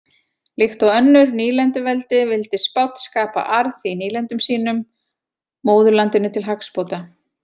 Líkt og önnur nýlenduveldi vildi Spánn skapa arð í nýlendum sínum móðurlandinu til hagsbóta.